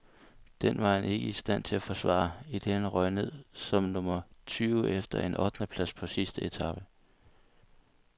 Den var han ikke i stand til at forsvare, idet han røg ned som nummer tyve efter en ottendeplads på sidste etape.